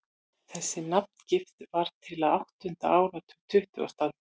Þessi nafngift varð til á áttunda áratug tuttugustu aldar.